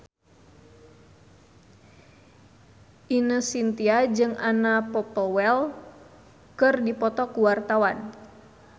Ine Shintya jeung Anna Popplewell keur dipoto ku wartawan